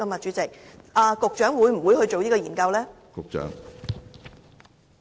主席，局長會否進行這項研究呢？